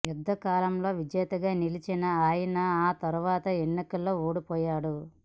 యుద్ధకాలంలో విజేతగా నిలిచిన ఆయన ఆ తర్వాత ఎన్ని కల్లో ఓడిపోయాడు